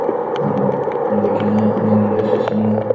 എന്തൊക്കെയാണ് നിങ്ങടെ വിശേഷങ്ങള് ?